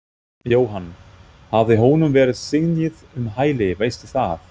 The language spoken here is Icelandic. Jóhann: Hafði honum verið synjað um hæli, veistu það?